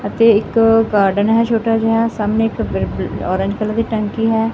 ਅਤੇ ਇੱਕ ਗਾਰਡਨ ਹੈ ਛੋਟਾ ਜਿਹਾ ਸਾਹਮਣੇ ਇੱਕ ਔਰੇਂਜ ਕਲਰ ਦੀ ਟੈਂਕੀ ਹੈ।